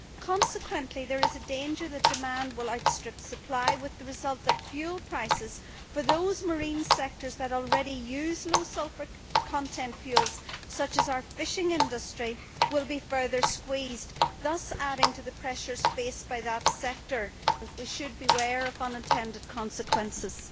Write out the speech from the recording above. Consequently, there is a danger that demand will outstrip supply, with the result that fuel prices for those marine sectors that already use low sulphur content fuels, such as our fishing industry, will be further squeezed, thus adding to the pressures faced by that sector. We should be wary of unintended consequences.